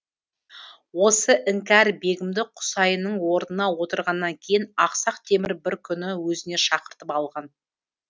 осы іңкәр бегімді құсайынның орнына отырғаннан кейін ақсақ темір бір күні өзіне шақыртып алған